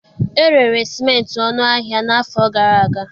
E rere simenti ọnụ ahịa n'afọ gara aga